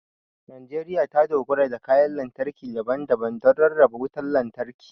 Najeriya ta dogara da kayan lantarki daban-daban don rarraba wutar lantarki.